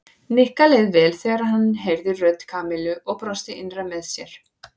Nikka leið vel þegar hann heyrði rödd Kamillu og brosti innra með sér.